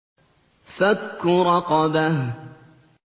فَكُّ رَقَبَةٍ